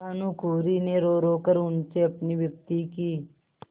भानुकुँवरि ने रोरो कर उनसे अपनी विपत्ति की